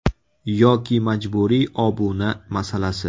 Yoki majburiy obuna masalasi.